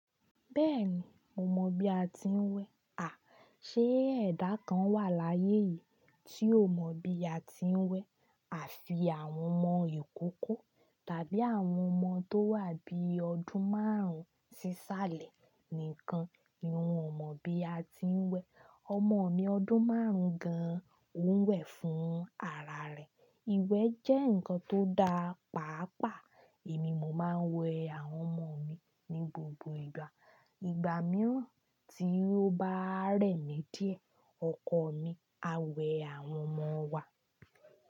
Bẹ́ẹ̀ni, mo mọ̀ bí a ti ń wẹ. À, ṣe ẹ̀dá kan wà láyé yìí tí ó mọ̀ bí a ti ń wẹ? Àfi àwọn ọmọ ìkókó tàbí àwọn ọmọ tó wà bí i ọdún márùn-ún sí sáálè nìkan ni wọn ò mọ̀ bí a ti ń wẹ. Ọmọ mi ọdún márùn-ún gan, òun wẹ̀ fún ara rẹ̀. Iwẹ jẹ́ nǹkan tó dáa, pàápàá èmi mo máa ń wẹ àwọn ọmọ mi ní gbogbo ìgbà. Ìgbà mìọ́ tí ó bá rẹ̀ mí díẹ̀, ọkọ mi a wẹ àwọn ọmọ wa.